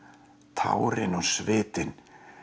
tárin og svitinn